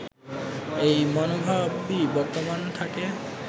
এই মনোভাবই বর্তমান থাকে